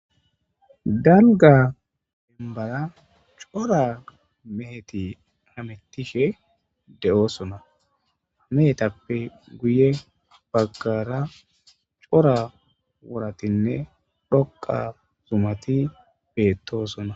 dalga dembala cora meheti hamettishe de7oosona hamehetappe guye baggara cora woratinne dhoqa zumati beettoosona